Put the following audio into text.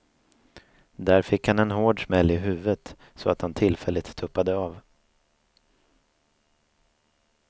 Där fick han en hård smäll i huvudet så att han tillfälligt tuppade av.